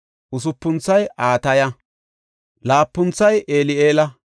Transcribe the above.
usupunthoy Ataya; laapunthoy Eli7eela;